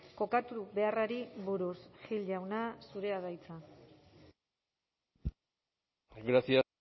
kokatu beharrari buruz gil jauna zurea da hitza gracias